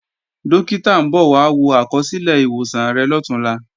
Dókítà ń bọ̀ wá wo àkọsílẹ̀ ìwòsàn rẹ̀ lọ̀túnla